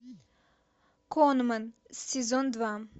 конмэн сезон два